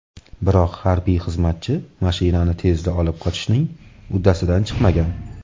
Biroq harbiy xizmatchi mashinani tezda olib qochishning uddasidan chiqmagan.